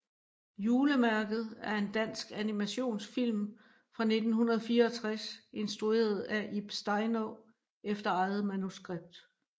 Julemærket er en dansk animationsfilm fra 1964 instrueret af Ib Steinaa efter eget manuskript